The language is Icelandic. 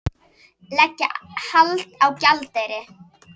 Leggja hald á gjaldeyri